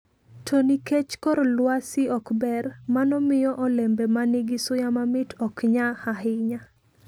To nikech kor lwasi ok ber, mano miyo olembe ma nigi suya mamit ok nya ahinya.